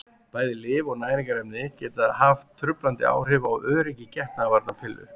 Bæði lyf og næringarefni geta haft truflandi áhrif á öryggi getnaðarvarnarpilla.